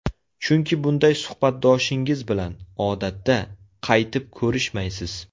Chunki bunday suhbatdoshingiz bilan, odatda, qaytib ko‘rishmaysiz.